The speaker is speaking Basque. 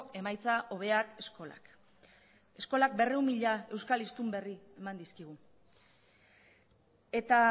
emaitza hobeak eskolak eskolak berrehun mila euskal hiztun berri eman dizkigu eta